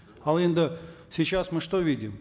ал енді сейчас мы что видим